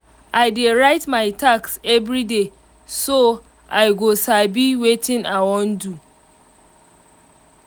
i dey write my task everyday so i go sabi watin i wan do um